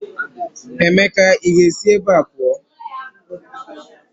Emeka ị ga-esi ebe a pụọ!